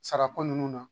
Sara ko nunnu na